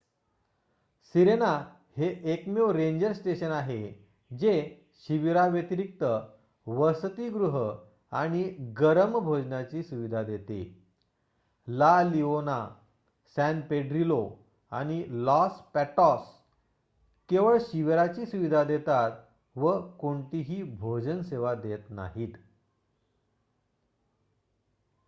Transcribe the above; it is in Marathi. सिरेना हे एकमेव रेंजर स्टेशन आहे जे शिबिराव्यतिरिक्त वसतिगृह आणि गरम भोजनाची सुविधा देते ला लिओना सॅन पेड्रिलो आणि लॉस पॅटोस केवळ शिबिराची सुविधा देतात व कोणतीही भोजन सेवा देत नाहीत